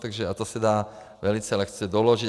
A to se dá velice lehce doložit.